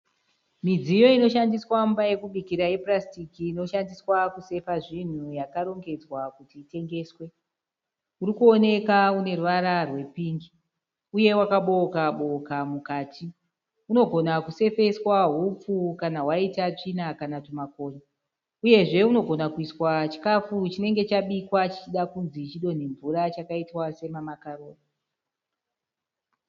Midziyo inoshandiswa mumba yekubikira yepurasitiki inoshandiswa kusefa zvinhu yakarongedzwa kuti itengeswe. Uri kuoneka une ruvara rwepingi uye wakabooka-booka mukati. Unogona kuseveswa hupfu kana hwaita tsvina kana twumakonye. Uyezve unogona kuiswa chikafu chinenge chabikwa chichida kunzi chodonhe mvura chakaitwa sema makaroni.